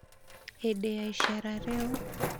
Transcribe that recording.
hĩndĩ ya iceera rĩu,